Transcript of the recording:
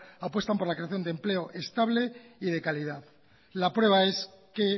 apuestan por la creación de empleo estable y de calidad la prueba es que